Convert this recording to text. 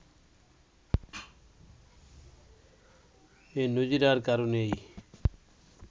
এই নজির আর কারো নেই